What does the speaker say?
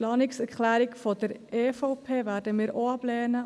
Die Planungserklärung der EVP werden wir auch ablehnen.